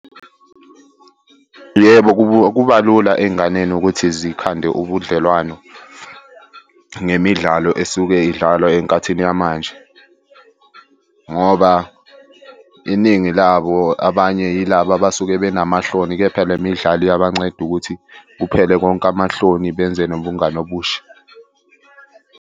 Yebo, kuba lula ey'nganeni ukuthi zikhande ubudlelwano ngemidlalo esuke idlalwa enkathini yamanje, ngoba iningi labo abanye yilaba abasuke benamahloni, kepha le midlalo iyabanceda ukuthi kuphele konke amahloni benze nobungani obusha.